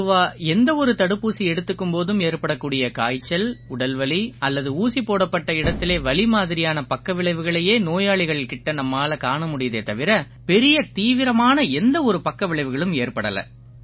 பொதுவா எந்த ஒரு தடுப்பூசி எடுத்துக்கும் போதும் ஏற்படக்கூடிய காய்ச்சல் உடல்வலி அல்லது ஊசி போடப்பட்ட இடத்திலே வலி மாதிரியான பக்கவிளைவுகளையே நோயாளிகள் கிட்ட நம்மால காண முடியுதே தவிர பெரிய தீவிரமான எந்த ஒரு பக்கவிளைவுகளும் ஏற்படலை